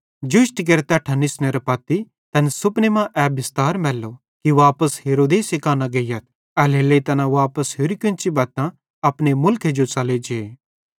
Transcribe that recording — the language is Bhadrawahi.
जोष्टी केरे तैट्ठां निसनेरां पत्ती तैन सुपने मां ए बिस्तार मैल्लो कि वापस हेरोदेसे कां न गेइयथ एल्हेरेलेइ तैना वापस कोन्ची होरि बत्तां अपने मुलखे जो च़ले जे